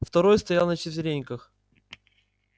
второй стоял на четвереньках